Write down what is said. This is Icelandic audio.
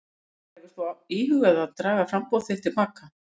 Lillý: Hefur þú þá íhugað að draga framboð þitt til baka?